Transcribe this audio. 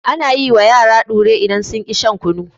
Ana yi wa yara ɗura da idan sun ƙi shan kunu.